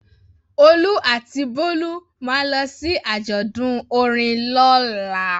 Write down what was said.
Olú àti Bólú máa lọ sí àjọ̀dún orin lọ́la.